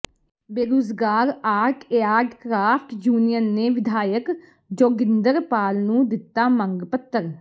ਬੇਰੁਜ਼ਗਾਰ art and craft union ਨੇ ਵਿਧਾਇਕ ਜੋਗਿੰਦਰਪਾਲ ਨੂੰ ਦਿੱਤਾ ਮੰਗ ਪੱਤਰ